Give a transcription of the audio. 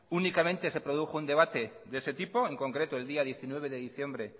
únicamente se produjo un debate de ese tipo en concreto el día diecinueve de diciembre